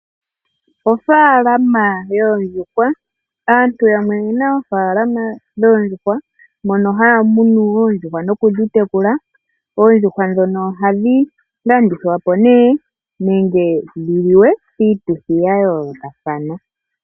Ofaalama yoondjuhwa. Aantu yamwe oyena oofaalama dhoondjuhwa mono haya munu oondjuhwa noku dhitekula. Oondjuhwa ndhono ohadhi landithwa po nee nenge dhi liwe piituthi ya yoolokathana.